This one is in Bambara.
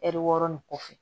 Ɛri wɔɔrɔ nin kɔfɛ